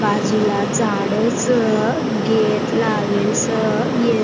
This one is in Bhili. बाजु ला झाड़ स गेट लावेल स ये--